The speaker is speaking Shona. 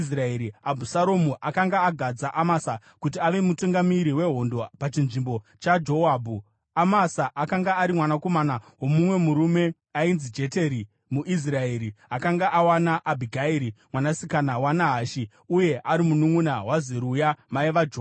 Abhusaromu akanga agadza Amasa kuti ave mutungamiri wehondo pachinzvimbo chaJoabhu. Amasa akanga ari mwanakomana womumwe murume ainzi Jeteri, muIsraeri akanga awana Abhigairi, mwanasikana waNahashi uye ari mununʼuna waZeruya mai vaJoabhu.